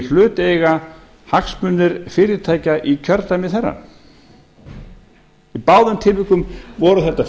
hlut eiga hagsmunir fyrirtækja í kjördæmi þeirra í báðum tilvikum voru þetta fyrirtæki